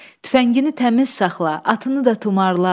Tüfəngini təmiz saxla, atını da tumarla.